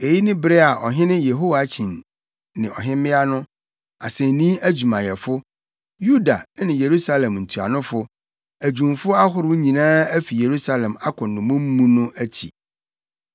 (Eyi yɛ bere a ɔhene Yehoiakyin ne ɔhemmea no, asennii adwumayɛfo, Yuda ne Yerusalem ntuanofo, adwumfo ahorow nyinaa afi Yerusalem akɔ nnommum mu no akyi.)